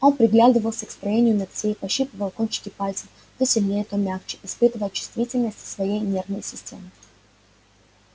он приглядывался к строению ногтей пощипывал кончики пальцев то сильнее то мягче испытывая чувствительность своей нервной системы